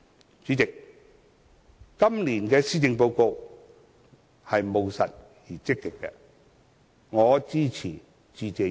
代理主席，今年的施政報告是務實而積極的，我支持致謝議案。